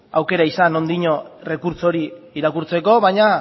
aukera izan oraindino errekurtso hori irakurtzeko baina